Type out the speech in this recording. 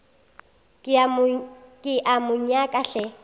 ke a mo nyaka hle